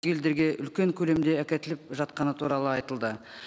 елдерге үлкен көлемде әкетіліп жатқаны туралы айтылды